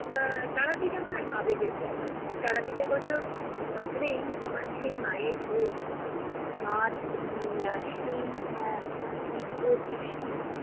এর তারাপীঠ আমার আবেগের জায়গা। তারাপীঠের কথা ভাবলেই আমার সেই মায়ের রূপ মা'র সেই এর দিব্যদৃষ্টি,